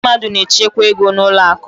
Ndị mmadụ na-echekwa ego n'ụlọ akụ.